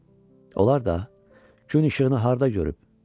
Onlar da gün işığını harda görüb?